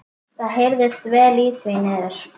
Það heyrðist vel í því niður.